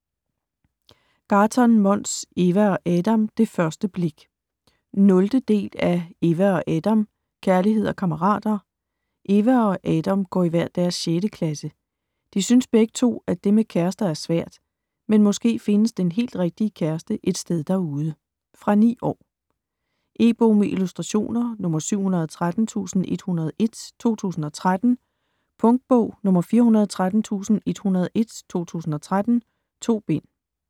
Gahrton, Måns: Eva og Adam - det første blik 0. del af Eva og Adam - kærlighed og kammerater. Eva og Adam går i hver deres 6. klasse. De synes begge to, at det med kærester er svært, men måske findes den helt rigtige kæreste et sted derude? Fra 9 år. E-bog med illustrationer 713101 2013. Punktbog 413101 2013. 2 bind.